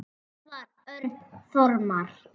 Elvar Örn Þormar.